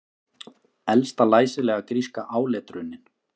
Elsta læsilega gríska áletrunin